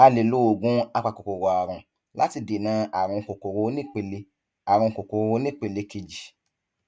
a lè lo oògùn apakòkòrò àrùn láti dènà àrùn kòkòrò onípele àrùn kòkòrò onípele kejì